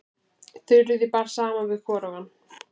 Þuríði bar saman við hvorugan.